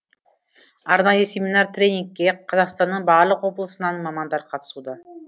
арнайы семинар тренингке қазақстанның барлық облысынан мамандар қатысуда